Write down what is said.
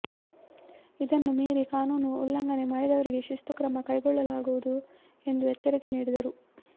ಇದನ್ನು ಮೀರಿ ಕಾನೂನು ಉಲ್ಲಂಘನೆ ಮಾಡಿದವರಿಗೆ ಶಿಸ್ತು ಕ್ರಮ ಕೈಗೊಳ್ಳಲಾಗುವುದು ಎಂದು ಎಚ್ಚರಿಕೆ ನೀಡಿದರು